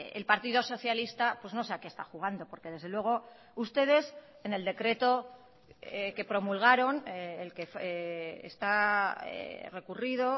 el partido socialista pues no sé a qué está jugando porque desde luego ustedes en el decreto que promulgaron el que está recurrido